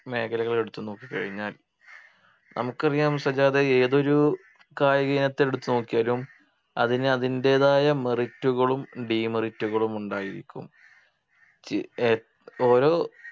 മേഖലകളെടുത്ത് നോക്കിക്കഴിഞ്ഞാൽ നമുക്കറിയാം സജാദേ ഏതൊരു കായികയിനത്തെ എടുത്ത് നോക്കിയാലും അതിനു അതിൻ്റെതായ merit കളും demerit കളും ഉണ്ടായിരിക്കും ഏർ ഓരോ